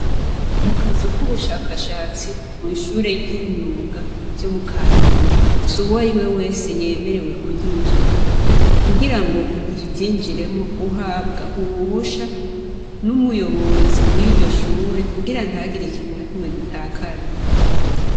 Mu kazu k'ubushakashatsi mw'ishure ry'imyuga ryo mu Kamenge. Si uwariwe wese yeremerewe kuryinjiramwo, kugirango uryinjiremwo uhabwa uruhusha n'umuyobozi w'iryo shure kugira ntihagire ikintu na kimwe gitakara.